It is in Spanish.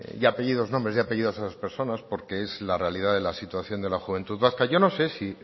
y apellidos nombres y apellidos a esas personas porque es la realidad de la situación de la juventud vasca yo no sé si